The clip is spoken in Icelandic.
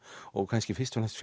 og kannski fyrst og fremst